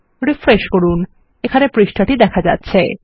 refresh করুন এখানে পৃষ্ঠাটি দেখা যাচ্ছে